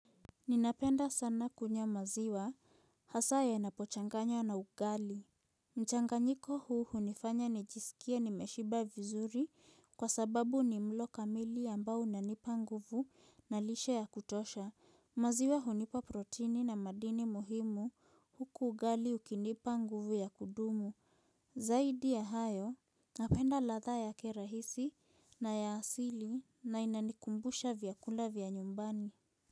Ninapenda sana kunywa maziwa hasaa yanapochanganywa na ugali. Mchanganyiko huu hunifanya nijisikie nimeshiba vizuri kwa sababu ni mlo kamili ambao unanipa nguvu na lishe ya kutosha. Maziwa hunipa protini na madini muhimu huku ugali ukinipa nguvu ya kudumu. Zaidi ya hayo napenda ladha yake rahisi na ya asili na inanikumbusha vyakula vya nyumbani.